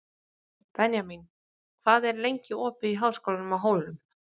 Benjamín, hvað er lengi opið í Háskólanum á Hólum?